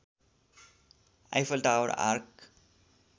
Eiffel Tower arc